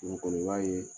Dugu kɔnɔ i b'a ye